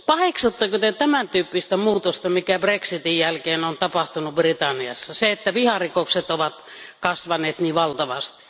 Paheksutteko Te tämän tyyppistä muutosta, mikä Brexitin jälkeen on tapahtunut Britanniassa, eli sitä, että viharikokset ovat kasvaneet niin valtavasti?